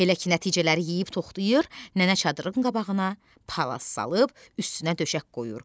Elə ki, nəticələri yeyib toxlayır, nənə çadırın qabağına palaz salıb üstünə döşək qoyur.